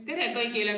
Tere kõigile!